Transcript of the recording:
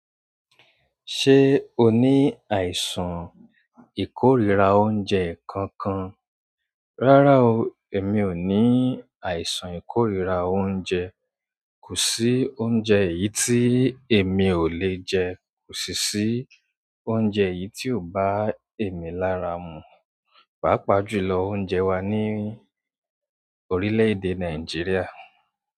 Ṣé o ní àìsàn ìkórìíra oúnjẹ kankan? Rárá o, èmi ò ní àìsàn ìkóríra oúnjẹ. Kò sí oúnjẹ èyí tí èmi ò lè jẹ, kò sì sí oúnjẹ èyí tí ò bá èmi lára mu. Pàápàá jùlọ oúnjẹ wa ní orílẹ̀-èdè Nàìjíríà.